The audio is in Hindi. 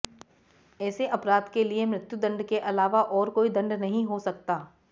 ऐसे अपराध के लिए मृत्युदंड के अलावा और कोई दंड नहीं हो सकता